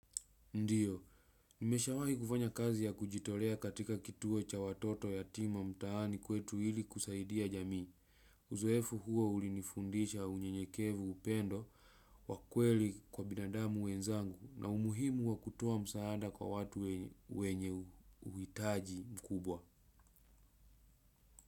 Ndio, nimeshawahi kufanya kazi ya kujitolea katika kituo cha watoto yatima mtaani kwetu hili kusaidia jamii. Uzoefu huo ulinifundisha unyenyekevu upendo, wakweli kwa binadamu wenzangu na umuhimu wakutoa msaada kwa watu wenye uhitaji mkubwa.